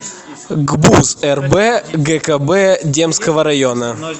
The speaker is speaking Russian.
гбуз рб гкб демского района